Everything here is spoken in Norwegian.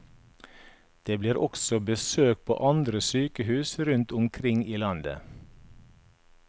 Det blir også besøk på andre sykehus rundt omkring i landet.